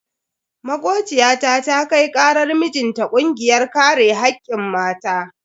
Makociyata ta kai karar mijinta kungiyar kare hakkin mata.